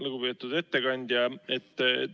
Lugupeetud ettekandja!